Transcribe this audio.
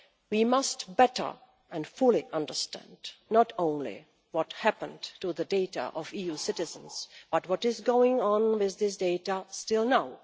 We must better and fully understand not only what happened to the data of EU citizens, but what is going on with this date even now.